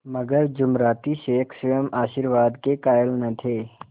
मगर जुमराती शेख स्वयं आशीर्वाद के कायल न थे